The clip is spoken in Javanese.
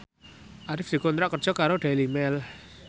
Arif dikontrak kerja karo Daily Mail